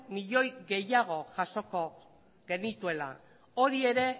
milioi gehiago jasoko genituela hori ere